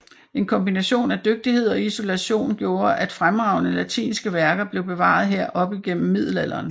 En kombination af dygtighed og isolation gjorde at fremragende latinske værker blev bevaret her op igennem middelalderen